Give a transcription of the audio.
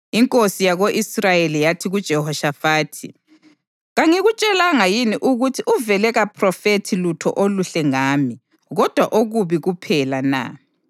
Inkosi yako-Israyeli yathi kuJehoshafathi, “Kangikutshelanga yini ukuthi uvele kaphrofethi lutho oluhle ngami kodwa okubi kuphela na?”